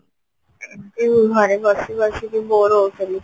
ଏମତି ଘରେ ବସି ବସିକି bore ହଉଥିଲି